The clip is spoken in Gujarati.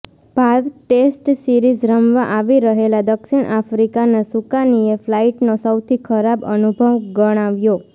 ભારત ટેસ્ટ સીરિઝ રમવા આવી રહેલા દક્ષિણ આફ્રિકાના સુકાનીએ ફ્લાઈટનો સૌથી ખરાબ અનુભવ ગણાવ્યો